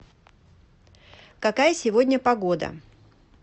какая сегодня погода